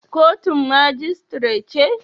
Kotun majistire ce?